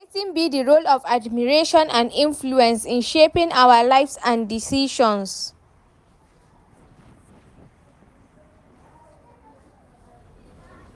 Wetin be di role of admiration and influence in shaping our lives and decisions?